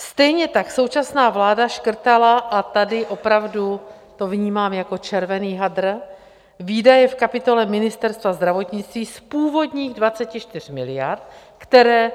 Stejně tak současná vláda škrtala, a tady opravdu to vnímám jako červený hadr, výdaje v kapitole Ministerstva zdravotnictví z původních 24 miliard, které